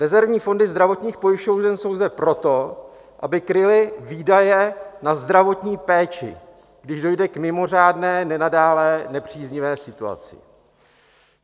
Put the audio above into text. Rezervní fondy zdravotních pojišťoven jsou zde proto, aby kryly výdaje na zdravotní péči, když dojde k mimořádné nenadálé nepříznivé situaci.